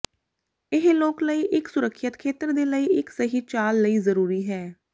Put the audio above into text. ਇਹ ਲੋਕ ਲਈ ਇੱਕ ਸੁਰੱਖਿਅਤ ਖੇਤਰ ਦੇ ਲਈ ਇੱਕ ਸਹੀ ਚਾਲ ਲਈ ਜ਼ਰੂਰੀ ਹੈ